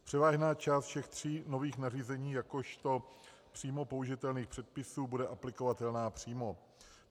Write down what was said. Převážná část všech tří nových nařízení jakožto přímo použitelných předpisů bude aplikovatelná přímo.